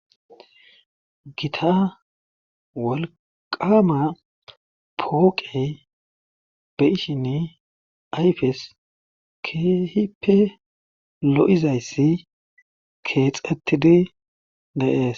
Gita wolqqaama pooqey be7ishini ayfes keehippe lo7izyssi keexettidi de7ees.